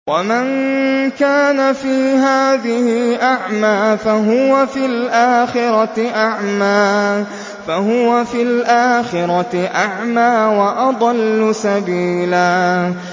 وَمَن كَانَ فِي هَٰذِهِ أَعْمَىٰ فَهُوَ فِي الْآخِرَةِ أَعْمَىٰ وَأَضَلُّ سَبِيلًا